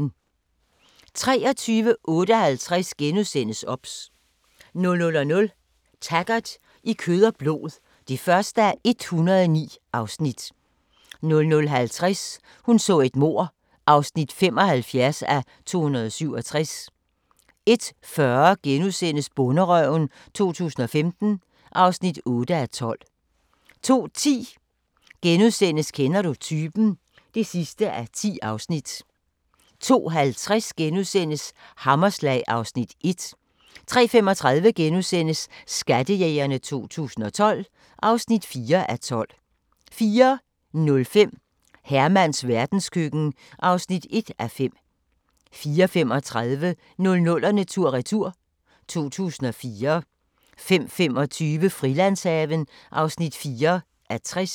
23:58: OBS * 00:00: Taggart: I kød og blod (1:109) 00:50: Hun så et mord (75:267) 01:40: Bonderøven 2015 (8:12)* 02:10: Kender du typen? (10:10)* 02:50: Hammerslag (Afs. 1)* 03:35: Skattejægerne 2012 (4:12)* 04:05: Hermans verdenskøkken (1:5) 04:35: 00'erne tur/retur: 2004 05:25: Frilandshaven (4:60)